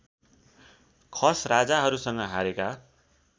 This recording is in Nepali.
खस राजाहरूसँग हारेका